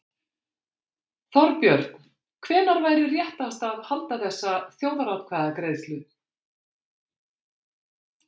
Þorbjörn: Hvenær væri réttast að halda þessa þjóðaratkvæðagreiðslu?